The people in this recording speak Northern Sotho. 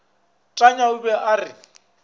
tanya o be a re